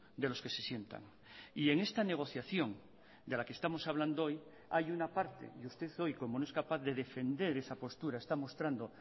de los que se sientan y en esta negociación de la que estamos hablando hoy hay una parte y usted hoy como no es capaz de defender esa postura está mostrando